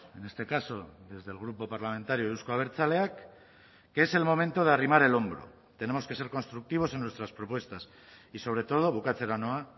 en este caso desde el grupo parlamentario euzko abertzaleak que es el momento de arrimar el hombro tenemos que ser constructivos en nuestras propuestas y sobre todo bukatzera noa